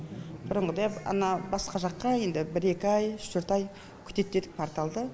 бұрын мындай ана басқа жаққа енді бір екі ай үш төрт күтетін едік порталды